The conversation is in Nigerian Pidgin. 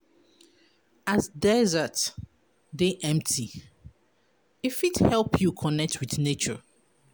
As desert dey empty, e fit help you connect wit nature.